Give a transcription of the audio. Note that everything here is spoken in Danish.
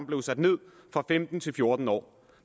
blev sat ned fra femten år til fjorten år